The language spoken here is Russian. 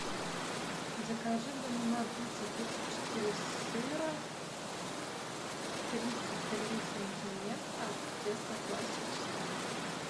закажи в домино пицца пиццу четыре сыра тридцать три сантиметра тесто классическое